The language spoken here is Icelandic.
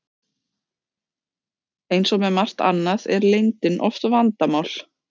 Eins og með margt annað er leyndin oft vandamál.